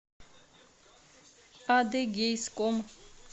адыгейском